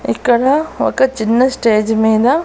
ఇక్కడ ఒక చిన్న స్టేజి మీద--